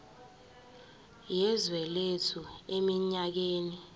yezwe lethu eminyakeni